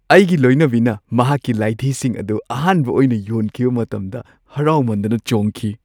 ꯑꯩꯒꯤ ꯂꯣꯏꯅꯕꯤꯅ ꯃꯍꯥꯛꯀꯤ ꯂꯥꯏꯙꯤꯁꯤꯡ ꯑꯗꯨ ꯑꯍꯥꯟꯕ ꯑꯣꯏꯅ ꯌꯣꯟꯈꯤꯕ ꯃꯇꯝꯗ ꯍꯔꯥꯎꯃꯟꯗꯅ ꯆꯣꯡꯈꯤ ꯫